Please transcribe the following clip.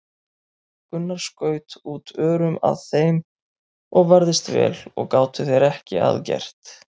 Gunnar skaut út örum að þeim og varðist vel og gátu þeir ekki að gert.